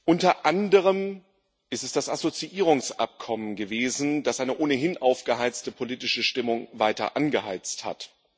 Unter anderem ist es das Assoziierungsabkommen gewesen, das eine ohnehin aufgeheizte politische Stimmung weiter angeheizt hat.